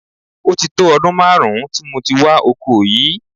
Ó ti tó ọdún máàrún tí mo ti wà oko yìí